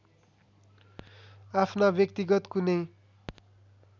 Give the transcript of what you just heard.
आफ्ना व्यक्तिगत कुनै